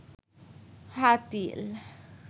Hatil